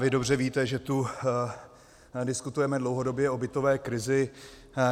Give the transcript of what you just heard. Vy dobře víte, že tu diskutujeme dlouhodobě o bytové krizi.